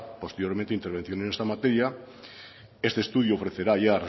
posteriormente intervenciones en esta materia este estudio ofrecerá ya